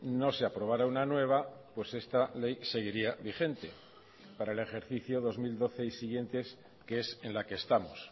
no se aprobara una nueva pues esta ley seguiría vigente para el ejercicio dos mil doce y siguientes que es en la que estamos